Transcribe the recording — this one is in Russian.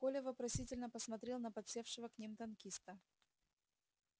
коля вопросительно посмотрел на подсевшего к ним танкиста